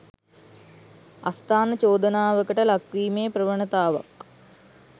අස්ථාන චෝදනාවකට ලක්වීමේ ප්‍රවණතාවක්